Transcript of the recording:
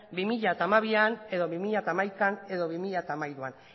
bi mila hamabian edo bi mila hamaikan edo bi mila hamairuan